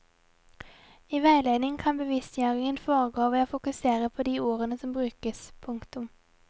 I veiledning kan bevisstgjøringen foregå ved å fokusere på de ordene som brukes. punktum